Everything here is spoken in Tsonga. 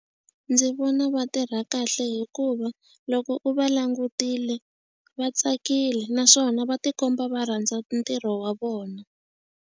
Ndzi vona va tirha kahle hikuva loko u va langutile va tsakile naswona va tikomba va rhandza ntirho wa vona.